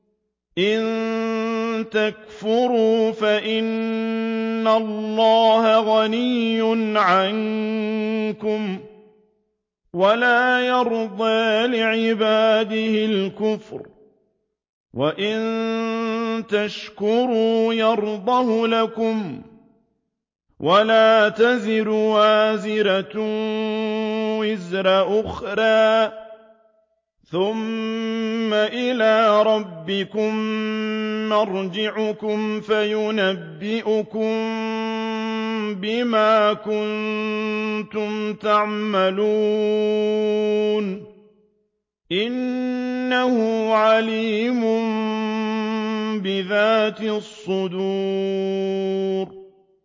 إِن تَكْفُرُوا فَإِنَّ اللَّهَ غَنِيٌّ عَنكُمْ ۖ وَلَا يَرْضَىٰ لِعِبَادِهِ الْكُفْرَ ۖ وَإِن تَشْكُرُوا يَرْضَهُ لَكُمْ ۗ وَلَا تَزِرُ وَازِرَةٌ وِزْرَ أُخْرَىٰ ۗ ثُمَّ إِلَىٰ رَبِّكُم مَّرْجِعُكُمْ فَيُنَبِّئُكُم بِمَا كُنتُمْ تَعْمَلُونَ ۚ إِنَّهُ عَلِيمٌ بِذَاتِ الصُّدُورِ